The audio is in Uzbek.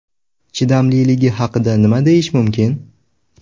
Chidamliligi haqida nima deyish mumkin?